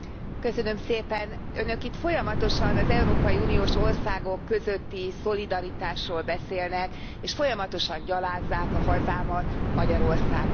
Elnök Úr, Önök itt folyamatosan az európai uniós országok közötti szolidaritásról beszélnek, és folyamatosan gyalázzák a hazámat, Magyarországot.